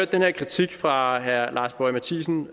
den her kritik fra herre lars boje mathiesen